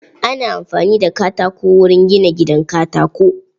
Ana amfani da katako wurin gina gidan katako.